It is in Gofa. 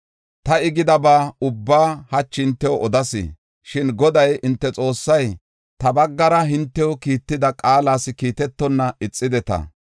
Ta I gidaba ubbaa hachi hintew odas. Shin Goday hinte Xoossay ta baggara hintew kiitida qaalas kiitetonna ixideta.